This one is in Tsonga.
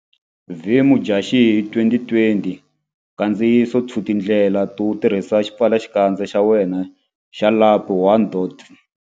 V Mudyaxihi 2020 Nkandziyiso 2 Tindlela to tirhisa xipfalaxikandza xa wena xa lapi 1.